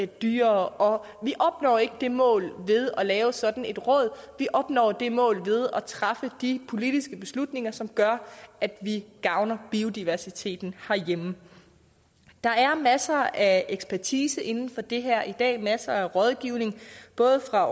dyrere og vi opnår ikke det mål ved at lave sådan et råd vi opnår det mål ved at træffe de politiske beslutninger som gør at vi gavner biodiversiteten herhjemme der er masser af ekspertise inden for det her i dag masser af rådgivning både fra